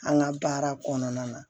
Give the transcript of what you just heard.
An ka baara kɔnɔna na